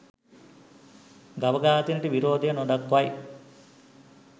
ගව ඝාතනයට විරෝධය නොදක්වයි